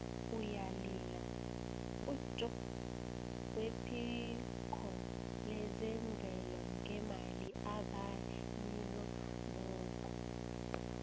uyalila ujobb wephiko lezemvelo ngemali ebayilobako